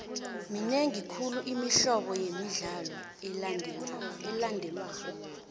minengi khulu imihlobo yemidlalo elandelwako